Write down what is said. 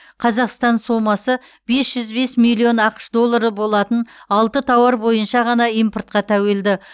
қазақстан сомасы бес жүз бес миллион ақш доллары болатын алты тауар бойынша ғана импортқа тәуелді